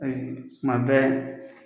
kuma bɛ